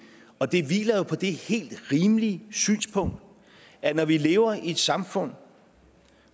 og det hviler jo på det helt rimelige synspunkt at når vi lever i et samfund